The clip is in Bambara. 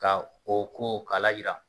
Ka o ko k'a layira.